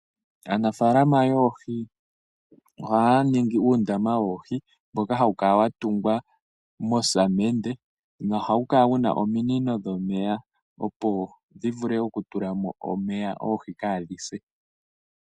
Aanafalama yoohi ohaa ningi uundama woohi. Mboka hawu kala wa tungwa mosamende nohawu kala wuna omiinino dhomeya opo dhi vule oku tula mo omeya oohi kaadhi se.